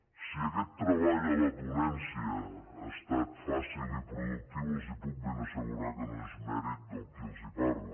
si aquest treball a la ponència ha estat fàcil i produc·tiu els puc ben assegurar que no és mèrit de qui els parla